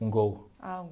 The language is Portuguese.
Um gol. Ah um